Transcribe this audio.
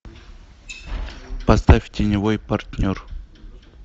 поставь теневой партнер